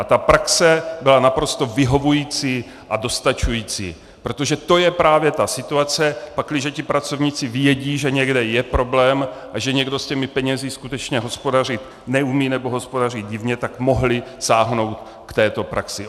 A ta praxe byla naprosto vyhovující a dostačující, protože to je právě ta situace, pakliže ti pracovníci vědí, že někde je problém a že někdo s těmi penězi skutečně hospodařit neumí nebo hospodaří divně, tak mohli sáhnout k této praxi.